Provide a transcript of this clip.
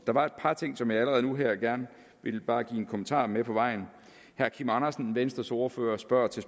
var et par ting som jeg allerede nu her gerne vil give bare en kommentar med på vejen herre kim andersen venstres ordfører spørger til